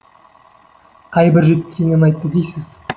қай бір жетіскеннен айтты дейсіз